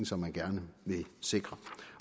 som man gerne vil sikre